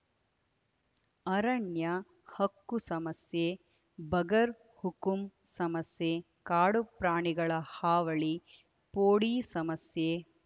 ಅರಣ್ಯಹಕ್ಕು ಸಮಸ್ಯೆ ಬಗರ್‌ಹುಕುಂ ಸಮಸ್ಯೆ ಕಾಡುಪ್ರಾಣಿಗಳ ಹಾವಳಿ ಪೋಡಿ ಸಮಸ್ಯೆ